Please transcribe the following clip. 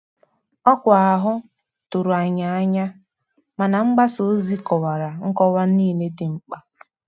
Ọkwa ahụ tụrụ anyị n'anya, mana mgbasa ozi kọwara nkọwa niile dị mkpa.